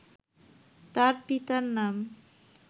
তার পিতার নাম